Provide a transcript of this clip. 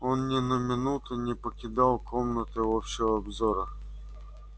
он ни на минуту не покидал комнаты общего обзора